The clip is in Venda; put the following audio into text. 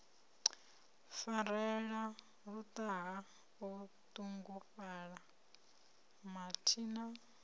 farelela luṱaha o ṱungufhala mathina